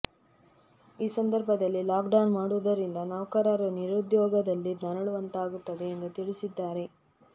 ಈ ಸಂದರ್ಭದಲ್ಲಿ ಲಾಕ್ಡೌನ್ ಮಾಡುವುದರಿಂದ ನೌಕರರು ನಿರುದ್ಯೋಗದಲ್ಲಿ ನರಳುವಂತಾಗುತ್ತದೆ ಎಂದು ತಿಳಿಸಿದ್ದಾರೆ